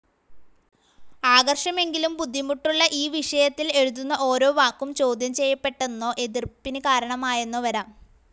ആകർഷകമെങ്കിലും ബുദ്ധിമുട്ടുള്ള ഈ വിഷയത്തിൽ എഴുതുന്ന ഓരോ വാക്കും ചോദ്യം ചെയ്യപ്പെട്ടെന്നോ എതിർപ്പിന് കാരണമായെന്നോ വരാം.